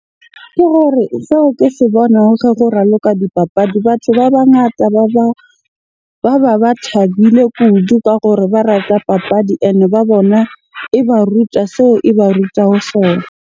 Ke gore seo ke se bonang ke go raloka dipapadi. Batho ba bangata ba ba ba thabile kudu ka gore ba rata papadi ene ba bona e ba rutwa seo e ba ruta ho sona.